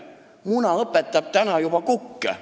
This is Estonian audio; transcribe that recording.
Muna õpetab täna juba kukke.